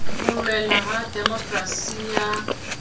ho loela ha demokerasi ya